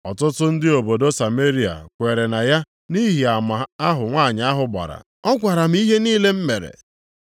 Ọtụtụ ndị obodo Sameria kweere na ya nʼihi ama ahụ nwanyị ahụ gbara, “Ọ gwara m ihe niile m mere.”